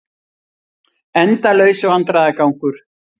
Endalaus vandræðagangur.